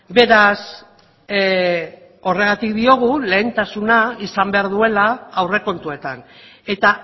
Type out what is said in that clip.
beraz horregatik diogu lehentasuna izan behar duela aurrekontuetan eta